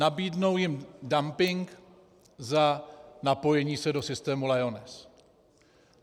nabídnou jim dumping za napojení se do systému Lyoness.